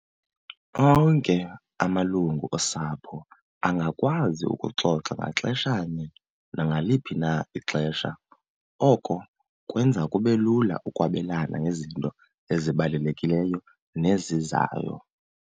Onke amalungu osapho angakwazi ukuxoxa ngaxeshanye nangaliphi na ixesha. Oko kwenza kube lula ukwabelana ngezinto ezibalulekileyo nezizayo.